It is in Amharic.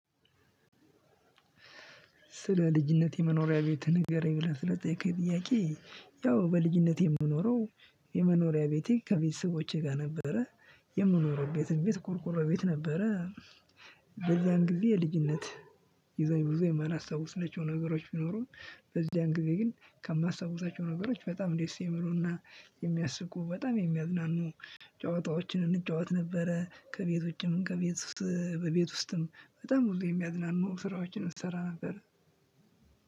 ስለ ልጅነቴ መኖሪያ ቤት ንገረኝ ብለህ ለጠየቅከኝ ጥያቄ ያው በልጅነቴ የምኖረው የመኖሪያ ቤቴ ከቤተሰቦቼ ጋር ነበረ የምኖረው ቤትም ቤት ቁርቁሮ ቤት ነበረ። በዚያን ጊዜ የልጅነት የዚያን ጊዜ ብዙ የማላስታውሳቸው ነገሮች ቢኖሩም በዚያን ጊዜ ግን ከማስታወሳቸው ነገሮች በጣም ደስ የሚሉና የሚያስቁ በጣም የሚያዝናኑ ጨዋታዎችን እንጫወት ነበረ። ከቤት ውጭም ከቤት ውስጥ በቤት ውስጥም በጣም ብዙ የሚያዝናኑ ስራዎችን እንሰራ ነበር።